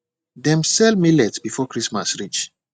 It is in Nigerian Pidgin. dem sell millet before christmas reach